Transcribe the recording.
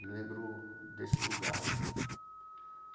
Eu me lembro desse lugar.